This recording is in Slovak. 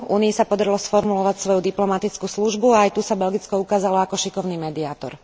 Únii sa podarilo sformulovať svoju diplomatickú službu a aj tu sa Belgicko ukázalo ako šikovný mediátor.